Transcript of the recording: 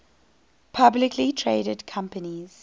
publicly traded companies